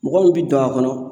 Mɔgɔ min bi don a kɔnɔ